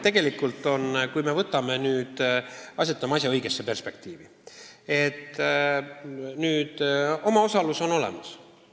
Tegelikult, kui me võtame asja õiges perspektiivis, siis omaosalus on olemas.